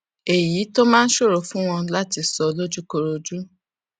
èyí tó máa ń ṣòro fún wọn láti sọ lójúkojú